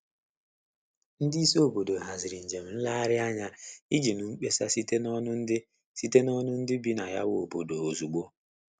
Ndị isi obodo haziri njem nlegharị anya iji nụ mkpesa site n'onu ndị site n'onu ndị bi na ya wu obodo ozugbo.